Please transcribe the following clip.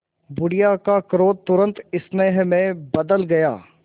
बुढ़िया का क्रोध तुरंत स्नेह में बदल गया